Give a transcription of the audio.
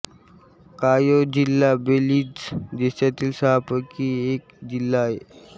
कायो जिल्हा बेलीझ देशातील सहापैकी एक जिल्हा आहे